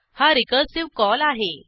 हा recursive call आहे